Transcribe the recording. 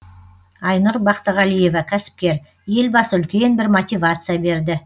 айнұр бақтығалиева кәсіпкер елбасы үлкен бір мотивация берді